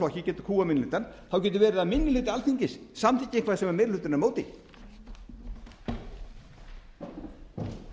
flokki getur kúgað minni hlutann getur verið að minni hluti alþingis samþykki eitthvað sem meiri hlutinn er á móti